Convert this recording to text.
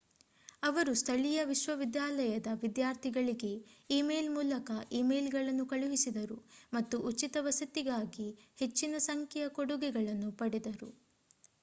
ಅವರು ಸ್ಥಳೀಯ ವಿಶ್ವವಿದ್ಯಾಲಯದ ವಿದ್ಯಾರ್ಥಿಗಳಿಗೆ ಇಮೇಲ್ ಮೂಲಕ ಇಮೇಲ್‌ಗಳನ್ನು ಕಳುಹಿಸಿದರು ಮತ್ತು ಉಚಿತ ವಸತಿಗಾಗಿ ಹೆಚ್ಚಿನ ಸಂಖ್ಯೆಯ ಕೊಡುಗೆಗಳನ್ನು ಪಡೆದರು